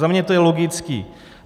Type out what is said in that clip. Za mě to je logické.